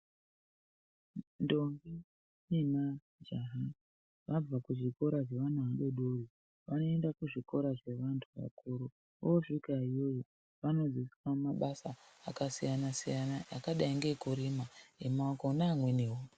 Ndombi ne majaha vabva ku zvikora zve vana vadodori vano enda ku zvikora zve vantu vakuru vosvika iyoyo vano dzidziswa mabasa aka siyana siyana akadai nge kurima e maoko ne amweniwo.